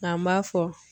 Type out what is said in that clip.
Nka n b'a fɔ